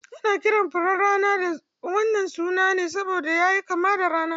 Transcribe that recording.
Ana kiran furen rana da wannan suna ne saboda yana kama da rana.